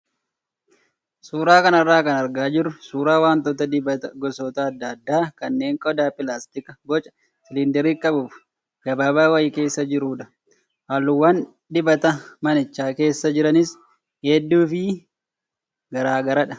Suuraa kanarraa kan argaa jirru suuraa wantoota dibataa gosoota adda addaa kanneen qodaa pilaastikaa boca siliindarii qabuu fi gabaabaa wayii keessa jirudha. Halluuwwan dibata manicha keessa jiraniis hedduu fi garaagaradha.